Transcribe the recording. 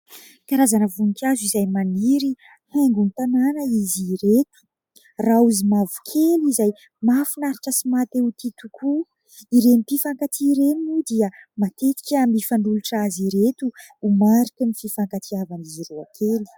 Karazana voninkazo izay maniry, haingon'ny tanàna izy ireto. Raozy mavokely izay mahafinaritra sy maha-te ho tia tokoa. Ireny mpifankatia ireny moa dia matetika mifanolotra azy ireto ho mariky ny fifankatiavan'izy roa kely.